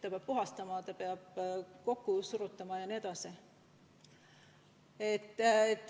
Seda peab puhastama, peab kokku suruma ja nii edasi.